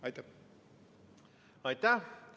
Aitäh!